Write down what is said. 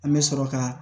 An bɛ sɔrɔ ka